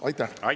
Aitäh!